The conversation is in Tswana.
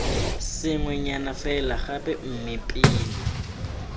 sengwenyana fela gape mme pele